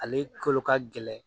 Ale kolokagɛlɛn